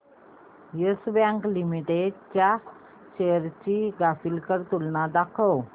yes Bank Limited च्या shares ची graphical तुलना दाखव